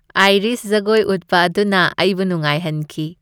Irish ꯖꯒꯣꯏ ꯎꯠꯄ ꯑꯗꯨꯅ ꯑꯩꯕꯨ ꯅꯨꯡꯉꯥꯏꯍꯟꯈꯤ ꯫